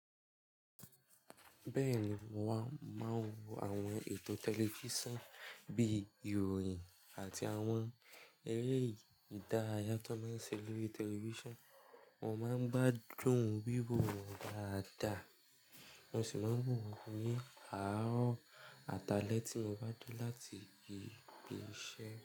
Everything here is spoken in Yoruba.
Bẹ́ẹ̀ni, mo máa ń wo àwọn ètò tẹlifísàn bí ìròyìn àti àwọn eré ìdárayá tó máa ń ṣe lori tẹlifísàn. Mo máa ń gbádùn wíwo wọn dáadáa, mo sì máa ń wo ni aárọ àti àlẹ̀ tí mo bá de láti gbéṣẹ.